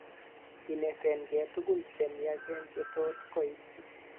Ineten gee tugul che miachen che tot koib.